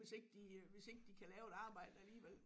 Hvis ikke de hvis ikke de kan lave et arbejde alligevel